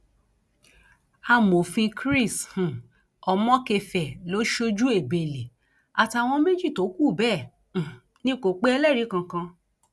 amòfin chris um omokefẹ lọ sójú ebele àtàwọn méjì tó kù bẹẹ um ni kò pe ẹlẹrìí kankan